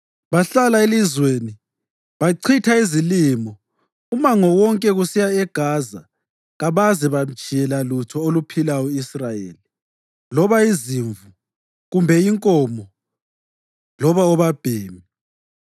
Bahlala elizweni bachitha izilimo umango wonke kusiya eGaza kabaze bamtshiyela lutho oluphilayo u-Israyeli, loba izimvu kumbe inkomo loba obabhemi.